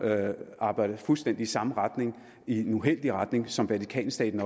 arbejdede fuldstændig i samme retning i en uheldig retning som vatikanstaten